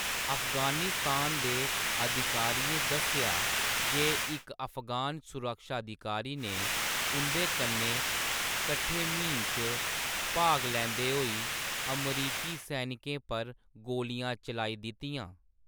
अफगानिस्तान दे अधिकारियें दस्सेआ जे इक अफगान सुरक्षा अधिकारी ने उंʼदे कन्नै कट्ठे म्हीम च भाग लैंदे होई अमरीकी सैनिकें पर गोलियाँ चलाई दित्तियां।